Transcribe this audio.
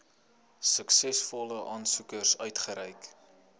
suksesvolle aansoekers uitgereik